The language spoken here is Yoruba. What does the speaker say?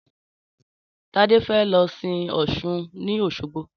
Tádé fe lo sin Ọ̀sun ni Òsogbo.